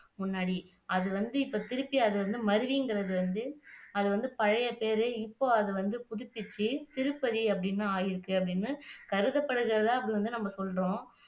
முன்னாடி அதுவந்து இப்போ திருப்பி அது வந்து மருவிங்கிறது வந்து அது வந்து பழையபேர் இப்ப அது வந்து புதுப்பிச்சு திருப்பதி அப்படின்னு ஆயிருக்குன்னு கருதப்படுகிறதா அப்படி வந்து நாம சொல்றோம்